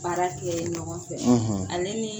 Baara kɛ ɲɔgɔn fɛ ale ni